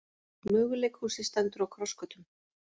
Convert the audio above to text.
Möguleikhúsið stendur á krossgötum